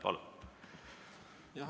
Palun!